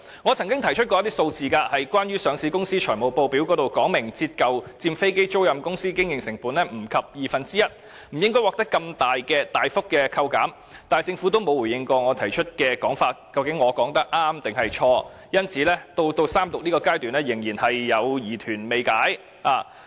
我曾經提出一些數字，指上市公司的財務報表也訂明，折舊佔飛機租賃公司經營成本少於二分之一，故此不應獲得如此大幅度的扣減，但政府並沒有回應我的說法是對或錯，所以到了三讀階段，我的疑團仍未能夠解開。